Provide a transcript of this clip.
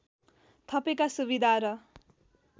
थपेका सुविधा र